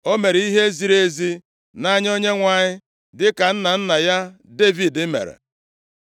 O mere ihe ziri ezi nʼanya Onyenwe anyị dịka nna nna ya Devid mere.